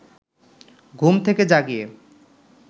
ঘুম থেকে জাগিয়ে